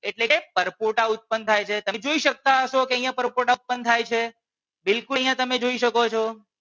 એટલે કે પરપોટા ઉત્પન્ન થાય છે તમે જોઈ શકતા હશો કે અહિયાં પરપોટા ઉત્પન્ન થાય છે બિલકુલ અહિયાં તમે જોઈ શકો છો.